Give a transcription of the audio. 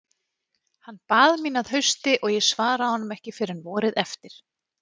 Hann bað mín að hausti og ég svaraði honum ekki fyrr en vorið eftir.